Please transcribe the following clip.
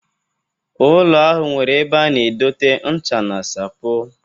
Ụlọ ahụ nwere ebe a na-edote ncha na sapo.